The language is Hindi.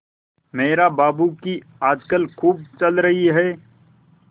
मेहरा बाबू की आजकल खूब चल रही है